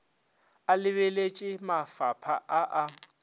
a lebeletše mafapha a a